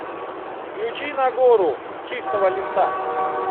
включи нагору с чистого листа